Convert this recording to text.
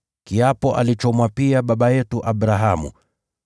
kiapo alichomwapia baba yetu Abrahamu: